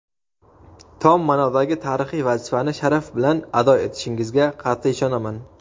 tom ma’nodagi tarixiy vazifani sharaf bilan ado etishingizga qat’iy ishonaman.